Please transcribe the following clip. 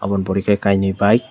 omo pore ke kaini bike.